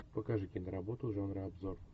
покажи киноработу жанра обзор